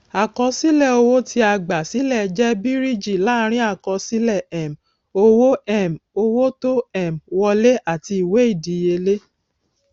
àkọsílẹ owó tí a gbà sílẹ jẹ bíríìjí láàrin àkọsílẹ um owó um owó tó um wolẹ àti ìwé ìdíyelé